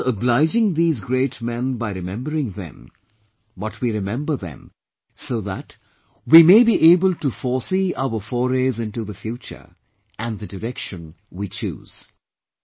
We are not obliging these great men by remembering them but we remember them so that we may be able to foresee our forays into the future and the direction we choose